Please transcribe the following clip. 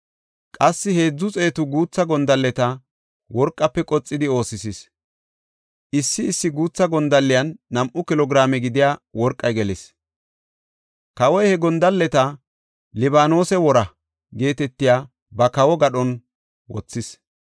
Qassi heedzu xeetu guutha gondalleta worqafe qoxidi oosisis. Issi issi guutha gondalliyan nam7u kilo giraame gidiya worqey gelis. Kawoy he gondalleta “Libaanose Woraa” geetetiya ba kawo gadhon wothis.